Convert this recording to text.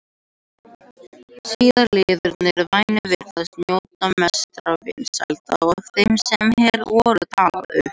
Síðari liðurinn- vænn virðist njóta mestra vinsælda af þeim sem hér voru taldir upp.